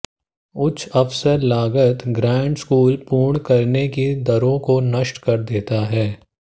उच्च अवसर लागत ग्रेड स्कूल पूर्ण करने की दरों को नष्ट कर देता है